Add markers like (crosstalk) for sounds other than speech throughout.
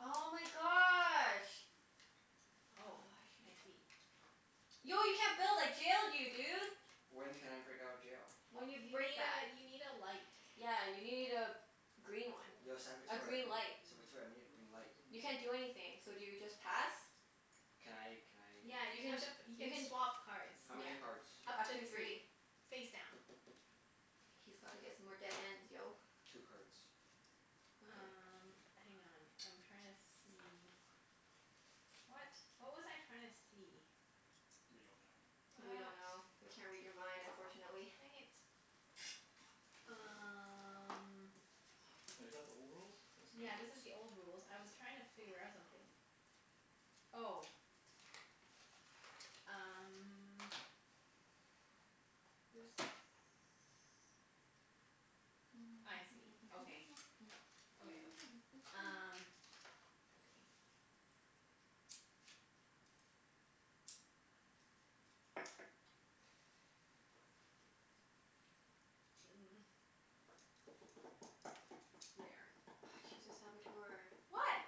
Oh my gosh. Oh, Oh, I I should've see. Yo, you can't build! I jailed you, dude! (noise) When can I break out of jail? When you You break need that. a, you need a light. Yeah, you need a green one. Yo A Saboteur, green light. Saboteur, I need a green light. You can't do anything. So do you just pass? Can I can I Yeah, You you can, have to p- you you can can swap cards. How Yeah. many cards? Up Up to to three. three. Face down. He's gotta get some more dead ends, yo. Two cards. Okay. Um, hang on. I'm trying to see What? What was I trying to see? We don't know. We What? don't know. We can't read your mind, unfortunately. Dang it. Um Wait, is that the old rules? That's new Yeah, this is rules. the old rules. I was trying to figure out something. (noise) Oh. Um This, I see. Okay. Okay, okay. Um (noise) Okay. Mm. There. Ah, she's a Saboteur. What?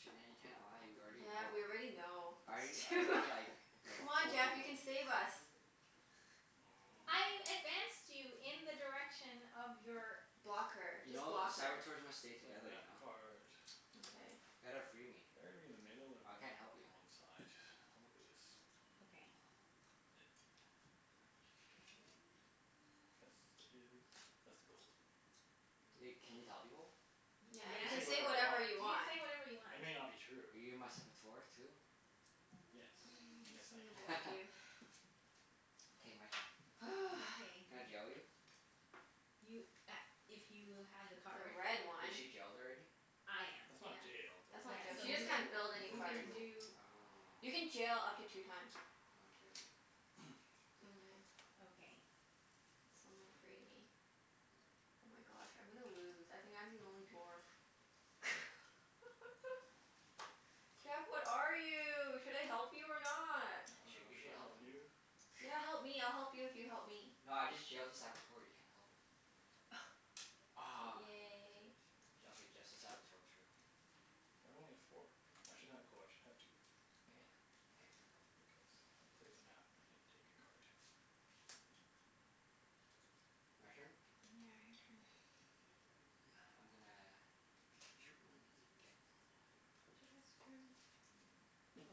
Junette, you can't lie. We already Yeah, know. we already know. I It's too I do Wha- like, like Come on told Jeff, you people. can save us. (laughs) I Mm. advanced you in the direction of your Block her. You Just know, block her. Saboteurs must stay I play a together, you map know? card. Okay. Ya gotta free me. Better to be in the middle or I better can't to be help on you. the one side? I'll look at this. Mm. Okay. It This is, that's the gold. (noise) Wait, can you tell people? Y- Yeah, I you yeah. can You can say can say say whatever whatever I you want. want. whatever you want. It may not be true. Are you my Saboteur too? Yes. (noise) Yes, Guess I'm gonna I am. (noise) block you. (noise) (laughs) K, my turn. (noise) Okay. Can I jail you? You a- if you have the The card. red Is one. she jailed already? I am. That's not Yeah. jailed. That That's You broke Yeah. not jail. So She just you a can, can't tool. build You any you broke a cards. can tool. do Oh. You can jail up to two times. I'll jail you. (noise) Mhm. Okay. Someone free me. Oh my gosh, I'm gonna lose. I think I'm the only dwarf. (laughs) Jeff, what are you? Should I help you or not? (noise) I You (noise) sh- dunno. you should Should I help help him. you? Yeah, help me. I'll help you if you help me. No, I just jailed a Saboteur. You can't help her. (noise) Aw. Yay. J- okay, just the Saboteur, true. Why do I only get four? I should have, oh I should have two. K. More. K. Because I play the map and take a card. (noise) My turn? Yeah, your turn. (noise) I'm gonna ditch one and get one. Jeff has a turn.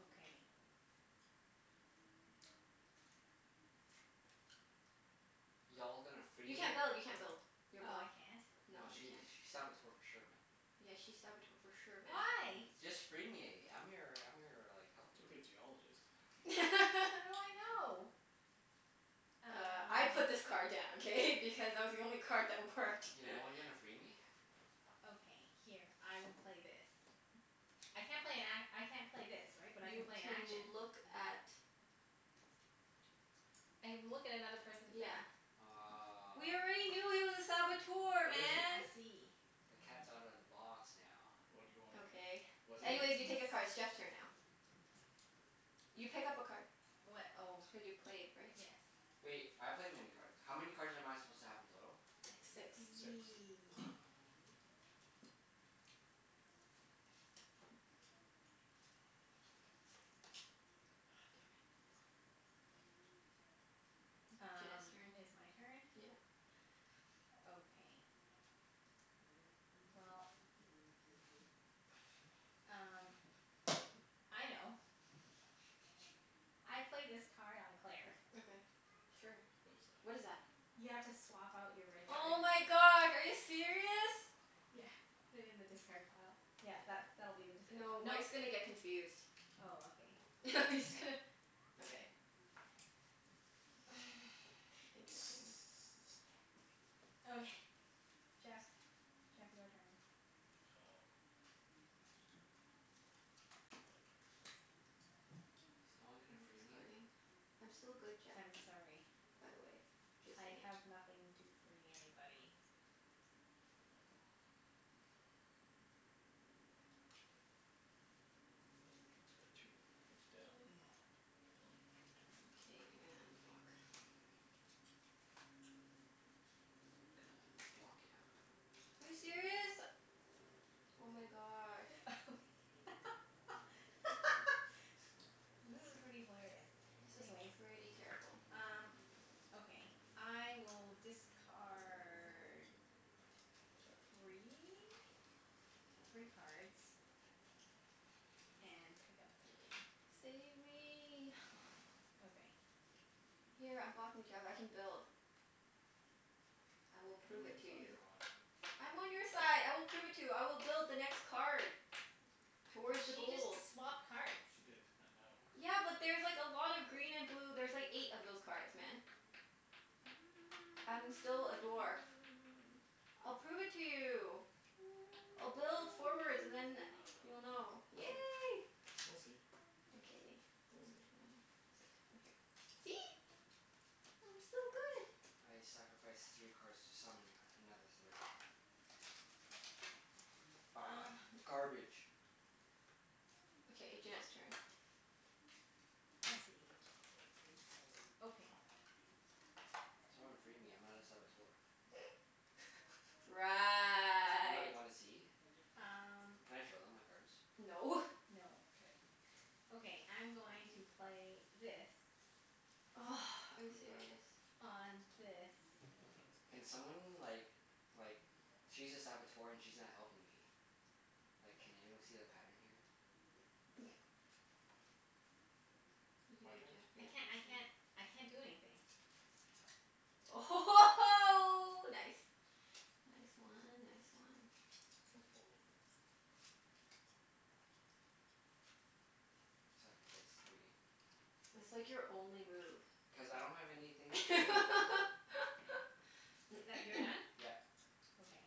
Okay. Y'all gonna free You me? can't build. You can't build. You're Oh, I blocked. can't? No, Nah, you she can't. sh- she's Saboteur for sure, man. Yeah, she's Saboteur for sure, man. Why? Y- just free me. I'm your I'm your like, helper. Could be a Geologist. (noise) How do (laughs) I know? Uh, I put Uh this card down, k? Because it was the only card that (noise) worked. Yeah, no one gonna (laughs) free me? Okay, here. I will play this. I can't play an a- I can't play this, right? But I can You play an can action? look at I can look at another person's Yeah. hand. (noise) Aw. We already knew he was a Saboteur, What is he? man! I see. (noise) The cat's outta the box now. What do you want? Okay. What do Anyways, you (inaudible) you take a He's card. It's Jeff's turn now. You pick up a card. What? Oh. Cuz you played, right? Yes. (noise) Wait, I played many card, how many cards am I supposed to have in total? I Six. Six. see. (noise) Ah. Aw, damn it. Junette's Um, turn. it's my turn? Yeah. Okay. Well, (noise) (noise) um m- I know. I play this card on Claire. Okay, sure. What is that? What is that? You have to swap out your red Oh card. my god, are you serious? Yeah, put it in the discard pile. Yeah, that's, that'll be the discard pile. No, Mike's Mike's gonna get confused. Oh, okay. (laughs) I'm just gonna Okay. (noise) (laughs) Interesting. (noise) Okay. Jeff's. Jeff, your turn. Oh. (noise) Is no one Are gonna you free me? discarding? I'm still good, Jeff. I'm sorry. By the way. Just I saying. have nothing to free anybody. It's card two, face down. One K, two. you're gonna unblock (noise) Gonna block you. Are you serious? Oh my gosh. Thank you. (laughs) This is pretty hilarious. This is Anyways pretty terrible. Um, okay. I will discard three? Three cards. (noise) And pick up three. Save me. (noise) Okay. Here, unblock me, Jeff. I can build. I will I prove dunno it whose to side you. you're on. I'm on your side. I will prove it to you. I will build the next card. Towards the She just gold. swapped cards. She did. I know. Yeah, but there's like a lot of green and blue. There's like eight of those cards, man. (noise) I'm still a dwarf. (noise) I'll prove it to you. I'll build forwards and then I (noise) you'll know. dunno. We'll Yay. see. We'll see. Okay, We'll which see. one? Is a two, here. See? I'm still good. (noise) I sacrifice three cards to summon another three. Ah! (noise) (laughs) Garbage. Okay, Junette's turn. I see. Okay. Someone free me. I'm not a Saboteur. (laughs) I'm not. Right. You wanna see? Um Can I show them my cards? No. No. K. Okay, I'm going to play this. (noise) Are you (inaudible) serious? On this. (noise) Can someone like like, she's a Saboteur and she's not helping me. Like, can anyone see the pattern here? (laughs) You can do My it, turn? I Jeff. can't I (inaudible) can't I can't do anything. Oh ho ho ho, nice! Nice one. Nice one. Gonna fall over. (noise) Sacrifice three. It's like your only move. Cuz I don't have anything free me. (laughs) I- that, you're done? (noise) Yeah. Okay.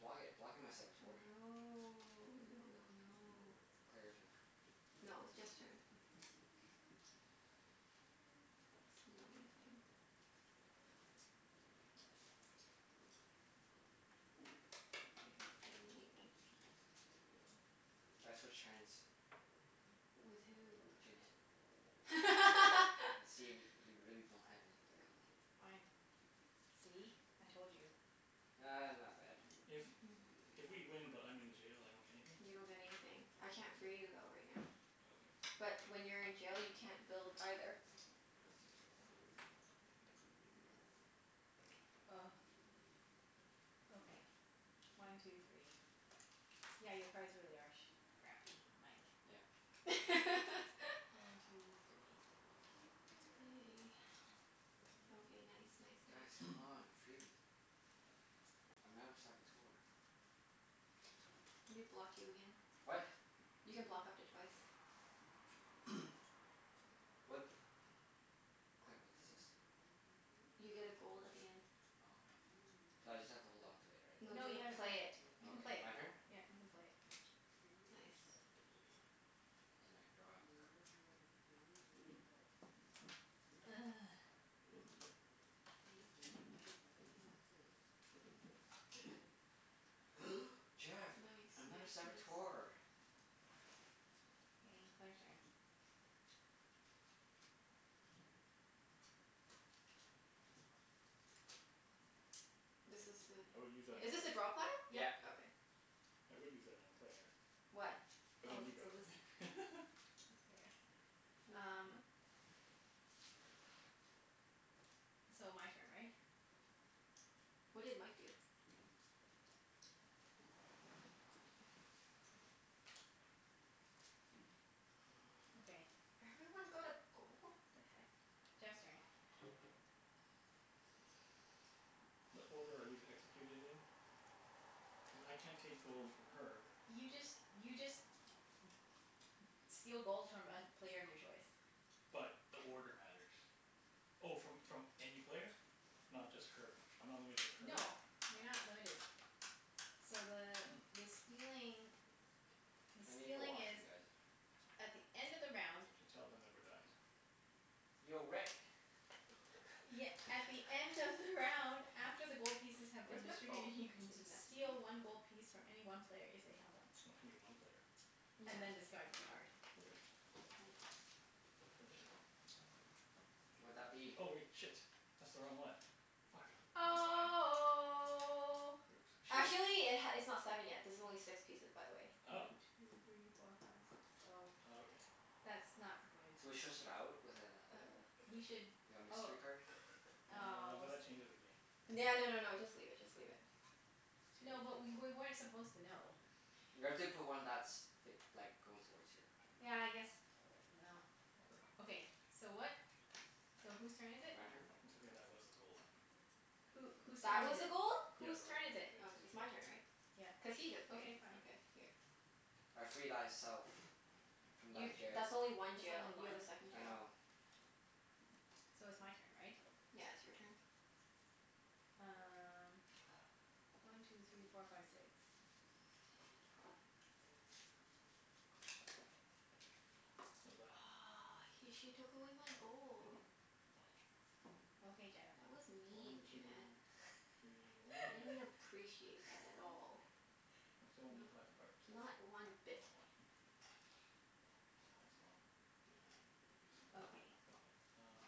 Block it. Block it, my Saboteur. No. No no no. Claire, your turn. No, it was Jeff's turn. It's a money thing. One two three four five. Okay, I haven't done anything. I switch hands. With who? Junette. Okay. And see (laughs) if y- you really don't have anything to help me. Fine. See? I told you. Ah, not bad. If (noise) if we win but I'm in the jail, I don't get anything? You don't get anything. I can't free you though, right now. Okay. But when you're in jail, you can't build, either. (noise) Okay. One two three. Yeah, your cards really are sh- crappy, Mike. (noise) Yep. One (laughs) two three. K. K. Okay, nice (noise) nice Guys, nice. come (noise) on. Free me. I'm not a Saboteur. Let me block you again. What? You can block up to twice. (noise) (noise) What? Claire, what does this do? You get a gold at the end. Oh, okay. So I just have to hold on to it, right? No, you've No, you have gotta to play play it. it. You Oh, can play okay. it. My turn? Yeah, you can play it. Nice. And I draw a card. (noise) (noise) (noise) Jeff! Nice nice I'm not a nice. Saboteur. K, Claire's turn. This is I would use that a, on is this a drop hole? Claire. (noise) Yeah, Yep. yeah. Okay. I would use that on Claire. What? But then Oh, you grab so this it. (laughs) is there. Use what? Um So, my turn, right? What did Mike do? (noise) Okay. Everyone got a gold? (noise) The heck? Jeff's turn. What order are these executed in? (noise) (noise) Cuz I can't take gold N- from her. (noise) you just, you just (noise) steal gold from a player of your choice. But, the order matters. Oh, from from any player? Not just her? I'm not limited to her? No. You're not limited. So the (noise) the stealing (noise) the I need the stealing is washroom, guys. at the end of the round Should tell them that we're done. Yo, Rick. (noise) Ye- at the end of the round (laughs) after the gold (laughs) pieces have been Where's my phone? distributed, you can Did he d- message me? steal one gold piece from any one player if they have one. O- any one player. Yeah. And then Okay. discard this card. Okay. All right. Finish it then. (noise) Would that be Oh (noise) wait. Shit. That's the wrong one. Fuck. Never mind. Oh. Oops. Should we Actually it h- it's not seven yet. This is only six pieces, by the way. Oh. One two three four five six, oh. Oh, okay. That's not good. Should we swish out with a like Or We should a oh mystery card? Uh, oh but s- that changes the game. No no no no, just leave it. Just leave it. No, but K. we wer- (noise) weren't supposed to know. We have to put one that's f- like, going towards here, you know? Yeah, I guess, no, whatever. Okay, so what? So whose turn is it? My turn? It's okay, that was the gold. Who, whose That turn was is a it? gold? Yeah, Whose the right turn one. is It it? Okay. is, It's so my turn, right? Yeah. Cuz he just played. Okay, fine. Okay, here. (noise) I free thyself. From thy You, jail. that's only one That's jail. only You have a one. second I jail. know. So it's my turn, right? Yeah, it's your turn. Um One two three four five six. What's that? Aw, he, she took away my gold. Oh. Okay, Jeff. That was mean, One two Junette. (noise) three, why I didn't don't I appreciate that at all. I (laughs) still only need five Not cards. not one I don't bit. know why. Well, well that's not very useful. Okay. Okay. Um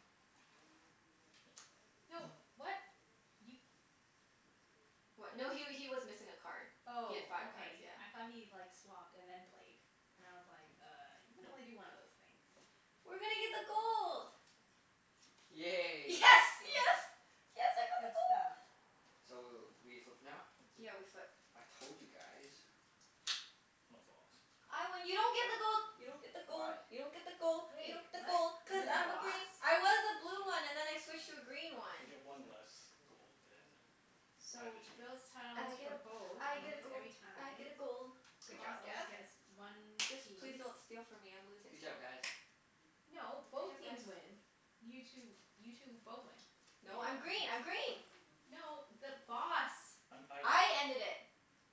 No, (noise) what? You What? What? No he wa- he was missing a card. He had Oh, five (noise) cards. okay. Yeah. I thought he like, swapped and then played. And I was like, "Uh, you can only No. do one of those things." We're gonna get the gold. Yes, Yay. Oh, yes! yay. Yes, I got the Good gold! stuff. So w- we flip now? Yeah, we flip. I told you guys. I'm a Boss. I win. You don't get the gold! You don't get the gold! Why? You don't get the gold! You Wait, don't get the gold! what? I'm Cuz the You're the I'm a Boss? Boss. green. I was a blue Yeah. one and then I switched to a green one. I get one less gold than either So, builds team. tiles I get for a, both I and get a wins gold. every I get time. a gold. The Good job, Boss always Jeff. gets one Just please piece. don't steal from me. I'm (noise) losing Good job, still. guys. No, Good both job, teams guys. win. You two, you two both win. No, I'm Yeah. green. I'm green! No, the Boss. I'm, I win. I ended it.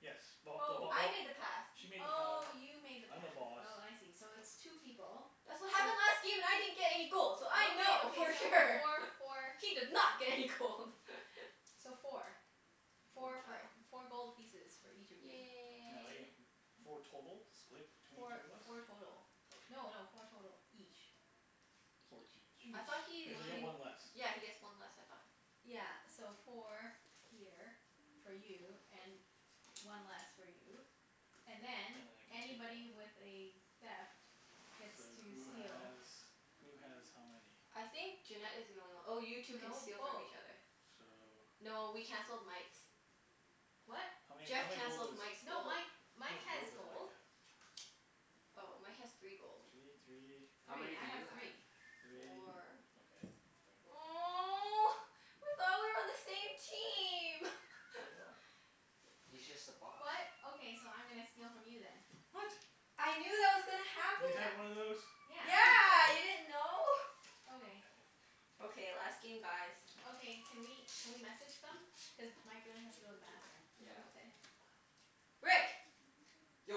Yes. Well, the Bo- Oh. I oh made the pass. She made the path, Oh, you made the I'm the pass. Boss. Oh, I see. So it's two people. That's what So happened last game and I didn't get any gold so I Okay, know okay, for so sure! four (laughs) for She did not get any gold! (laughs) So four. Four Four gold. for, Oh. four gold pieces for each of you. Now I Yay. get w- four total? Split between Four, two of us? four total. Okay. No no, four total each. Four Each. each. I thought Each. he Cuz I get he One one less. Yeah, he gets one less, I thought? Yeah, so four here, for you, and one less for you. And And then, then I can take one. anybody with a theft gets So, to who steal. has who has how many? I think Junette is the only one. Oh, you two can No, steal from both. each other. So No, we canceled Mike's. What? How many, Jeff how many gold cancelled does Mike's No, gold. Mike, How Mike much has gold does Mike gold. have? Oh, Mike has three gold. Three, (noise) three How many Three. do I have you have? three. three. Four Okay, yoink. (noise) Oh. I thought we were on the same team! We (laughs) are. He's just the boss. (noise) What? Okay, so I'm gonna steal from you then. What? I knew that was gonna You had happen. one of those? Yeah. Yeah, you didn't know? God Okay. damn it. Okay, last game, guys. Okay. Can we can we message them? Cuz Mike really has to go to the bathroom. Mm, Yeah. ok-